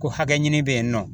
Ko hakɛ ɲini bɛ yen nɔ